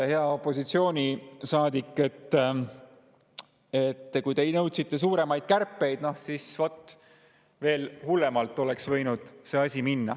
Hea opositsioonisaadik, kui te nõudsite suuremaid kärpeid, siis noh, oleks võinud veel hullemalt minna see asi.